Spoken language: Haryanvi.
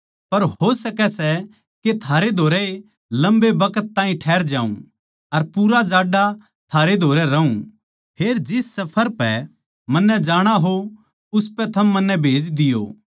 पर हो सकै सै के थारै धोरै ए लम्बे बखत ताहीं ठैहर जाऊँ अर पूरा जाड्डा थारे धोरै रहूँ फेर जिस सफर पै मन्नै जाणा हो उसपै थम मन्नै भेज दियो